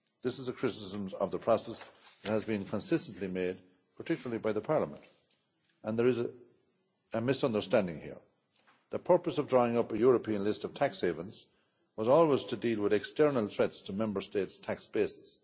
lists. This is a criticism of the process that has been consistently made, particularly by Parliament, and there is a misunderstanding here. The purpose of drawing up a European list of tax havens was always to deal with external threats to Member States'